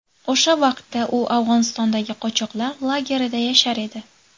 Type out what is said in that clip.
O‘sha vaqtda u Afg‘onistondagi qochoqlar lagerida yashar edi.